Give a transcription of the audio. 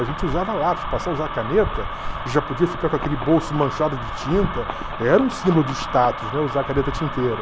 A gente usava lápis, passava a usar caneta, já podia ficar com aquele bolso manchado de tinta, era um símbolo de status, né, usar caneta tinteiro.